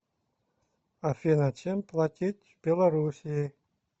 афина чем платить в белоруссии